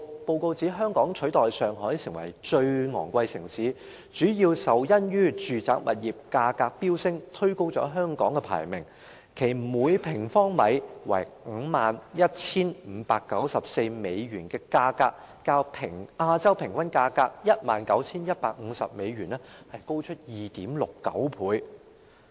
報告指出，香港取代上海成為最昂貴城市，主要因住宅物業價格飆升，推高了香港的排名，其每平方米 51,594 美元的價格，較亞洲平均價格 19,150 美元高出 2.69 倍。